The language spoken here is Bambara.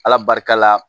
Ala barika la